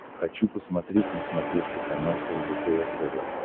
хочу посмотреть на смотрешке канал лдпр тв